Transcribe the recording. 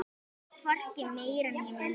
Hvorki meira né minna!